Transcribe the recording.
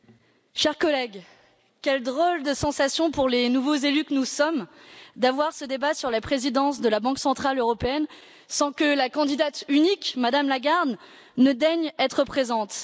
Monsieur le Président, chers collègues, quelle drôle de sensation, pour les nouveaux élus que nous sommes, d'avoir ce débat sur la présidence de la Banque centrale européenne sans que la candidate unique, Mme Lagarde, daigne être présente.